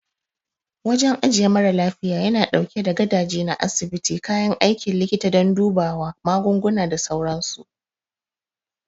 Wajen ajiye mara lafiya yana ɗauke da gadaje na asibiti, kayan aikin likita don dubawa, magunguna, da sauransu.